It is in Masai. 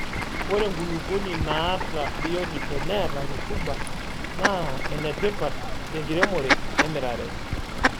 Ore enkulupuoni naata biotisho neeta rutuba naa enetipat tenkiremore emirare.